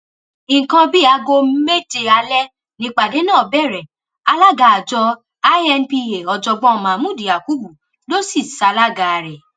nǹkan bíi aago méje alẹ nípàdé náà bẹrẹ alága àjọ inpa ọjọgbọn mahmood yakubu ló sì ṣalága rẹ